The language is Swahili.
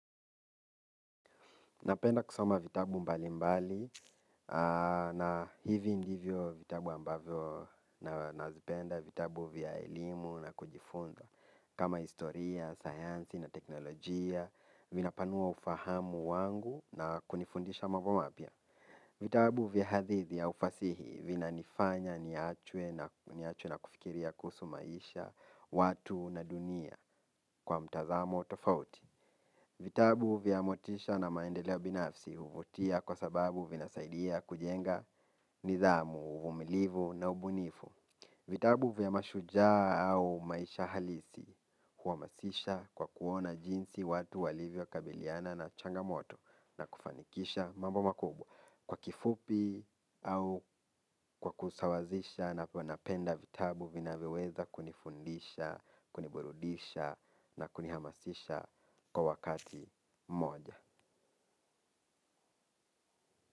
Napenda kusoma vitabu mbalimbali na hivi ndivyo vitabu ambavyo nazipenda vitabu vya elimu na kujifunza kama historia, sayansi na teknolojia, vinapanua ufahamu wangu na kunifundisha mambo mapya. Vitabu vya hadithi au fasihi vinanifanya niwachwe na niwachwe na kufikiria kuhusu maisha, watu na dunia kwa mtazamo tofauti. Vitabu vya motisha na maendeleo binafsi huvutia kwa sababu vinasaidia kujenga nidhamu, uvumilivu na ubunifu. Vitabu vya mashujaa au maisha halisi huhamasisha kwa kuona jinsi watu walivyokabiliana na changamoto na kufanikisha mambo makubwa. Kwa kifupi au kwa kusawazisha napo napenda vitabu vinavyoweza kunifundisha, kuniburudisha na kunihamasisha kwa wakati moja.